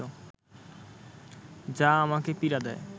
যা আমাকে পীড়া দেয়